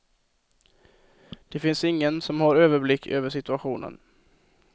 Det finns ingen som har överblick över situationen.